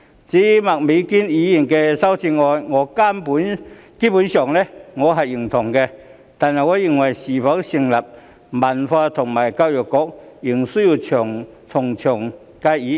至於麥美娟議員的修正案，我基本上認同，但卻認為是否成立文化及體育局，仍須從長計議。